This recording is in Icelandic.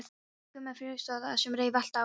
Nema Gummi frekjuskjóða sem reif allt af manni.